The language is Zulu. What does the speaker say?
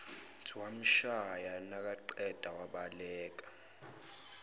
wamshaya nakaqeda wasebaleka